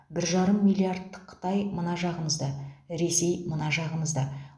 бір жарым миллиардтық қытай мына жағымызда ресей мына жағымызда